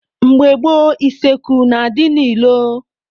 Mgbe gboo, useekwu na-adị n'ilo.